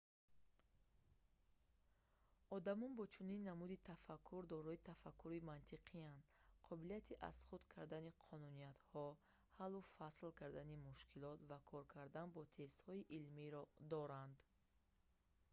одамон бо чунин намуди тафаккур дорои тафаккури мантиқиянд қобилияти аз худ кардани қонуниятҳо ҳаллу фасл кардани мушкилот ва кор кардан бо тестҳои илмиро доранд